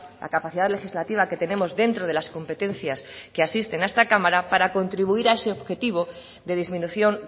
la capacidad legislativa que tenemos dentro de las competencias que asisten a esta cámara para contribuir a ese objetivo de disminución